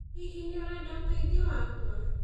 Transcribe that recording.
Hihi, nĩ ũrenda ũteithio wakwa